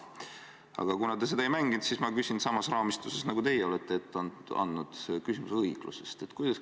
Aga kuna te seda ei mänginud, siis ma küsin samas raamistuses, nagu teie olete ette andnud, küsimuse õiglusest.